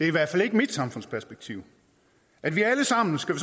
i hvert fald ikke mit samfundsperspektiv at vi alle sammen skal